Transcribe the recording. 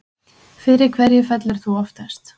Fyrir hverju fellur þú oftast